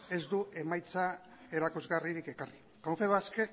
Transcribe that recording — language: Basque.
ez du emaitza erakusgarririk ekarri confebask